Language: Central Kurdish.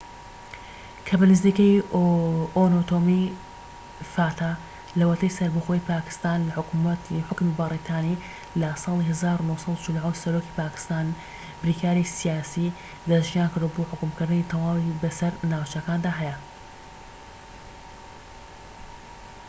لەوەتەی سەربەخۆیی پاکستان لە حوکمی بەریتانی لە ساڵی 1947 سەرۆکی پاکستان بریکاری سیاسی دەسنیشانکردووە بۆ حوکمکردنی fata کە بە نزیکەیی ئۆتۆنۆمی تەواوی بەسەر ناوچەکاندا هەیە